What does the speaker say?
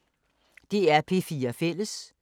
DR P4 Fælles